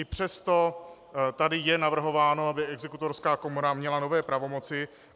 I přesto tady je navrhováno, aby Exekutorská komora měla nové pravomoci.